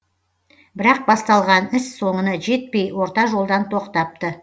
бірақ басталған іс соңына жетпей орта жолдан тоқтапты